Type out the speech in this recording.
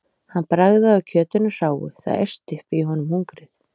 Hann bragðaði á kjötinu hráu- það æsti upp í honum hungrið.